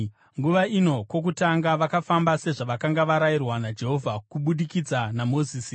Nguva ino, kwokutanga, vakafamba sezvavakanga varayirwa naJehovha kubudikidza naMozisi.